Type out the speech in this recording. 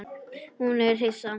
Hún er hissa.